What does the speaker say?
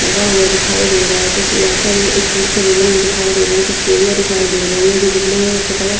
लगा हुआ दिखाई दे रहा है कुछ यहाँ पर स्टील की रेलिंग दिखाई दे रही है कुछ सीढ़ियाँ दिखाई दे रही है जो बिल्डिंग है उसका कलर --